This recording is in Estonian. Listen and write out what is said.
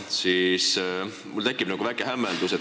Selle peale tekib mul väike hämmeldus.